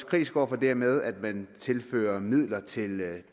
kritiske over for det med at man tilfører midler til